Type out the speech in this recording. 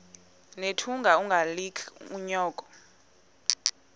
nethunga ungalinik unyoko